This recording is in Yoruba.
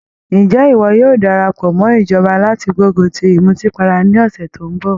Ǹjẹ́ ìwọ yóò darapọ̀ mọ́ ìjọba láti gbógun ti ìmùtípara ní ọ̀sẹ̀ tó ń bọ̀?